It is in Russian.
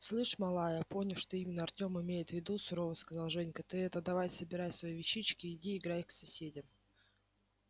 слышь малая поняв что именно артём имеет в виду сурово сказал женька ты это давай собирай свои вещички и иди играй к соседям